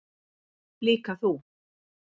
Líka þú.